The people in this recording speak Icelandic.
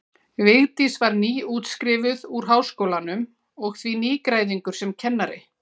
Vigdís var nýútskrifuð úr Háskólanum og því nýgræðingur sem kennari.